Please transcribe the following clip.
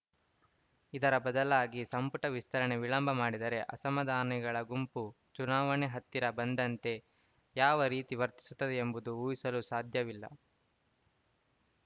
ಇದರ ಬದಲಾಗಿ ಸಂಪುಟ ವಿಸ್ತರಣೆ ವಿಳಂಬ ಮಾಡಿದರೆ ಅಸಮಾಧಾನಿಗಳ ಗುಂಪು ಚುನಾವಣೆ ಹತ್ತಿರ ಬಂದಂತೆ ಯಾವ ರೀತಿ ವರ್ತಿಸುತ್ತದೆ ಎಂಬುದನ್ನು ಊಹಿಸಲು ಸಾಧ್ಯವಿಲ್ಲ